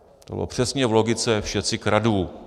To bylo přesně v logice "všetci kradnú".